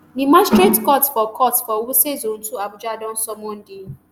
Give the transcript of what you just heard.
di magistrate court for court for wuse zone two abuja don summon di.